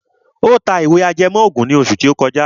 Ó ta ìwé ìtàn ajẹmọ́ ògùn ní oṣù tó kọjá.